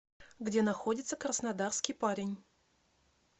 где находится краснодарский парень